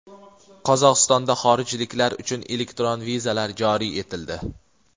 Qozog‘istonda xorijliklar uchun elektron vizalar joriy etildi.